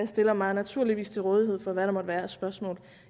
stiller mig naturligvis til rådighed for hvad der måtte være af spørgsmål